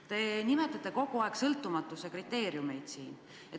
Te viitate kogu aeg sõltumatuse kriteeriumidele.